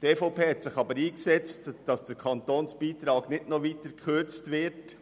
Die EVP hat sich aber dafür eingesetzt, dass der Kantonsbeitrag nicht noch weiter gekürzt wird.